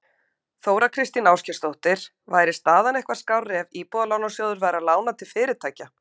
Þóra Kristín Ásgeirsdóttir: Væri staðan eitthvað skárri ef Íbúðalánasjóður væri að lána til fyrirtækja?